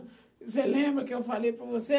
Você lembra que eu falei para você?